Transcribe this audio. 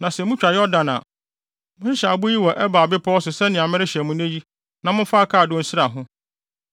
Na sɛ mutwa Yordan a, monhyehyɛ abo yi wɔ Ebal bepɔw so sɛnea merehyɛ mo nnɛ yi na momfa akaadoo nsra ho.